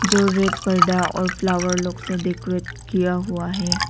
जो रेड पर्दा और फ्लावर लोग से डेकोरेट किया हुआ है।